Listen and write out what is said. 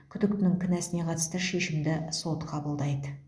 күдіктінің кінәсіне қатысты шешімді сот қабылдайды